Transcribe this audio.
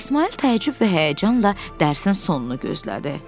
İsmayıl təəccüblə və həyəcanla dərsin sonunu gözlədi.